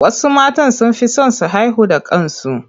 Wasu matan sun fi son su haihu da kansu.